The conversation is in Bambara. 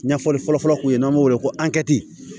Ɲɛfɔli fɔlɔfɔlɔ kun ye n'an b'o wele ko